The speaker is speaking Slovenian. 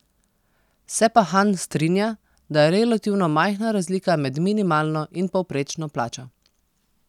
Se pa Han strinja, da je relativno majhna razlika med minimalno in povprečno plačo.